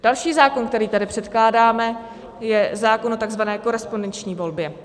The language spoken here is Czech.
Další zákon, který tady předkládáme, je zákon o tzv. korespondenční volbě.